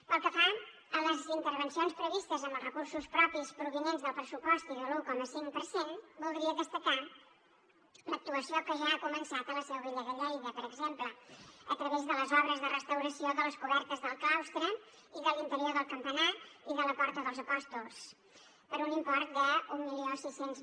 pel que fa a les intervencions previstes amb els recursos propis provinents del pressupost i de l’un coma cinc per cent voldria destacar l’actuació que ja ha començat a la seu vella de lleida per exemple a través de les obres de restauració de les cobertes del claustre i de l’interior del campanar i de la porta dels apòstols per un import de mil sis cents